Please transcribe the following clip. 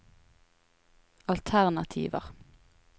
alternativer